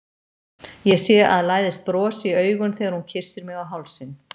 Ég sé að læðist bros í augun þegar hún kyssir mig á hálsinn.